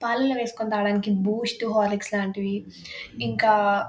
పాలల్లో వేసుకుని తాగడానికి బూస్ట్ హార్లిక్స్ లాంటిది ఇంకా